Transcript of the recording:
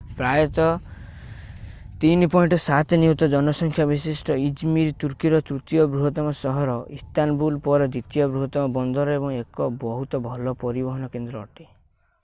ପ୍ରାୟ 3.7 ନିୟୁତ ଜନସଂଖ୍ୟା ବିଶିଷ୍ଟ ଇଜମିର୍ ତୁର୍କୀର ତୃତୀୟ ବୃହତ୍ତମ ସହର ଇସ୍ତାନବୁଲ ପରେ ଦ୍ୱିତୀୟ ବୃହତ୍ତମ ବନ୍ଦର ଏବଂ ଏକ ବହୁତ ଭଲ ପରିବହନ କେନ୍ଦ୍ର ଅଟେ